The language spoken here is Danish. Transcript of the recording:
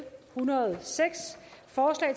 foreslår at